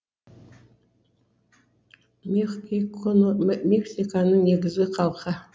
мехиконо мексиканың негізгі халқы